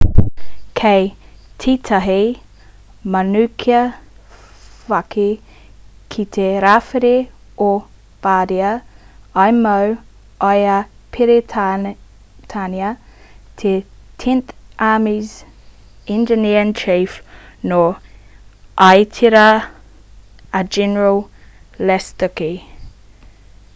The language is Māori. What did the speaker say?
ki tētahi manukāwhaki ki te rāwhiti o bardia i mau i a peretānia te tenth army's engineer-in-chief nō itāria a general lastucci